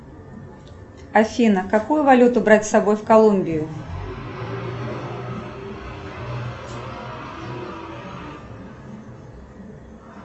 афина какую валюту брать с собой в колумбию